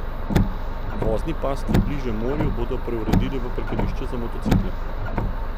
Vozni pas, ki je bliže morju, bodo preuredili v parkirišče za motocikle.